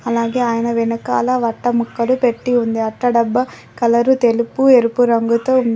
అలాగే ఆయన వెనకాల అట్టముక్కలు పెట్టి ఉంది అట్ట డబ్బా కలరు తెలుపు ఎరుపు రంగుతో ఉంది.